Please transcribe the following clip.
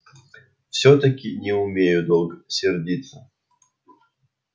всё-таки не умею долго сердиться